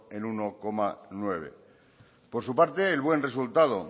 en uno coma nueve por su parte el buen resultado